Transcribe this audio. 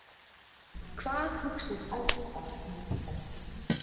Hvað hugsar æskan nútildags?